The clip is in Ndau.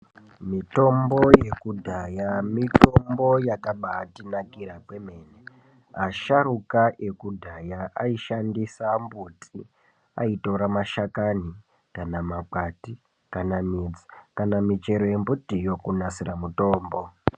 Mitombo yekudhaya mitombo yakabatinakira kwemene asharuka ekudhaya aishandisa mbuti aitora mashakana kana makwati kana midzi kana michero yembutiyo kunasire mutombo.